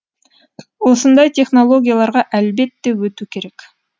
осындай технологияларға әлбетте өту керек